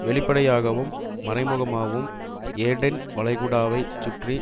வெளிப்படையாகவும் மறைமுகமாகவும் ஏடென் வளைகுடாவை சுற்றி